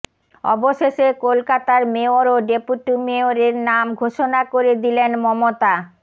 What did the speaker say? অবশেষে কলকাতার মেয়র ও ডেপুটি মেয়রের নাম ঘোষণা করে দিলেন মমতা